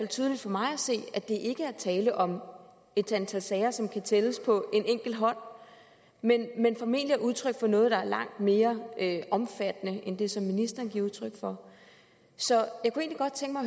tydeligt for mig at se at der ikke er tale om et antal sager som kan tælles på en enkelt hånd men formentlig udtryk for noget der er langt mere omfattende end det som ministeren giver udtryk for så